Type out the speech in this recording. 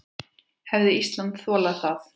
Hefði Ísland þolað það?